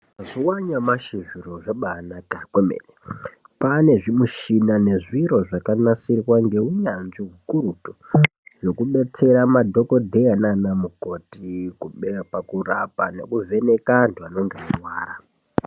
Zviwanyamashi zviro zvabaanaka kwemene, kwava nezvimichina nezviro zvakanasirwa ngeunyanzvi hukurutu zvekudetsera madhokodheya nana mukoti pakurapa nekuvheneka antu anenge echirwara.